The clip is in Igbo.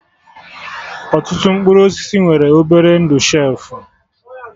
Ọtụtụ mkpụrụ osisi nwere obere ndụ shelfụ